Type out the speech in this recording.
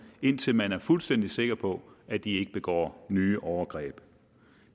indtil man er fuldstændig sikker på at de ikke begår nye overgreb